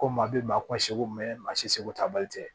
Ko maa bɛ maa ko seko maa si seko ta bali te